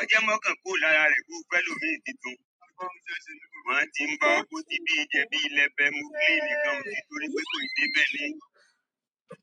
Ọ je mọ ọkán kúrò lára rẹ kó fẹ̀ lomi tìtun. Ma tí ń bá ọkọ tí bí ìjẹbí lẹ bẹ mú gbé ènìkan òtí torí pé kò ì dé bẹ́lẹ̀.